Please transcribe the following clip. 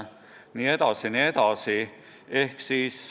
Jne, jne.